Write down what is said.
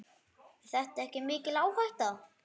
Er þetta ekki mikil áhætta?